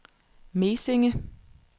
Mesinge